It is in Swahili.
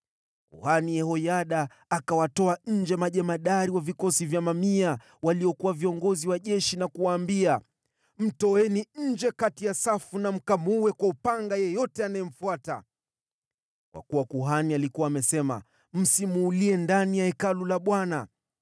Kuhani Yehoyada akawatuma majemadari wa vikosi vya mamia, waliokuwa viongozi wa jeshi, na kuwaambia: “Mleteni nje kati ya safu, na mkamuue kwa upanga yeyote anayemfuata.” Kwa kuwa kuhani alikuwa amesema, “Msimuulie ndani ya Hekalu la Bwana .”